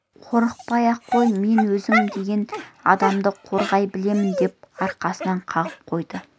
қорықпай-ақ қой мен өзім деген адамды қорғай білемін деп арқасынан қағып қойды